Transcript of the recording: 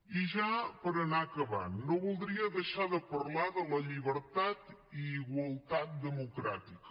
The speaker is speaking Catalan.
i ja per anar acabant no voldria deixar de parlar de la llibertat i igualtat democràtica